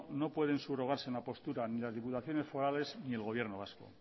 no pueden subrogarse en la postura ni las diputaciones forales ni el gobierno vasco